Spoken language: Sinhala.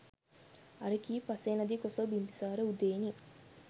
අර කී පසේනදී කොසොල් බිම්බිසාර උදේනි